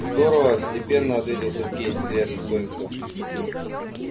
здорово степенно ответил сергей не теряя достоинства